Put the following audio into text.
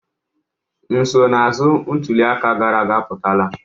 Nsonaazụ ntuli aka gara aga apụtala.